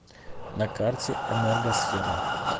на карте энергосфера